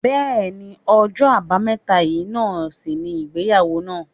Bẹẹni, ọjọ́ àbámẹ́ta yìí náà sì ni ìgbéyàwó naa